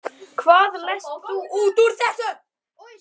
Hvað lest þú út úr þessu?